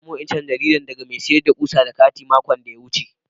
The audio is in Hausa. Na samu wa'incan jarida daga mai sayarwa kusa da gati' makon da ya wuce.